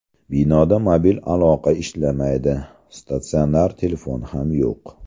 Binoda mobil aloqa ishlamaydi, statsionar telefon ham yo‘q.